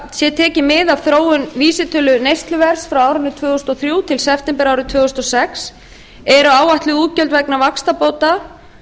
sé tekið mið af þróun vísitölu neysluverðs frá árinu tvö þúsund og þrjú til september árið tvö þúsund og sex eru áætluð útgjöld vegna vaxtabóta